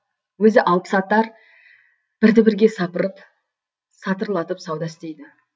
өзі алыпсатар бірді бірге сапырып сатырлатып сауда істейді